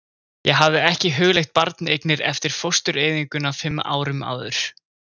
Ég hafði ekki hugleitt barneignir eftir fóstureyðinguna fimm árum áður.